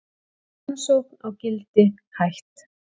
Rannsókn á Gildi hætt